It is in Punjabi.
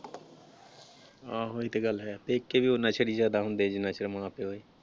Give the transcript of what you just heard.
ਆਹੋ ਇਹ ਤੇ ਗੱਲ ਹੈ, ਪੇਕੇ ਵੀ ਓਨਾ ਚਿਰ ਹੀ ਜਿਆਦਾ ਹੁੰਦੇ ਜਿਨ੍ਹਾਂ ਚਿਰ ਮਾਂ ਪਿਓ ਹੈ।